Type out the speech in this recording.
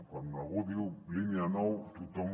quan algú diu línia nou tothom